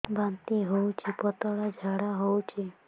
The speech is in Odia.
ବାନ୍ତି ହଉଚି ପତଳା ଝାଡା ହଉଚି